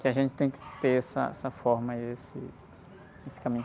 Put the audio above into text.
Que a gente tem que ter essa, essa forma e esse, esse caminho.